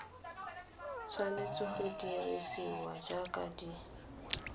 tshwanetse go dirisiwa jaaka di